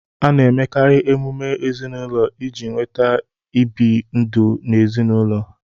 A na-emekarị emume ezinaụlọ iji weta ibi n'udo n'ezinaụlọ